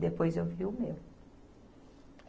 Depois eu via o meu.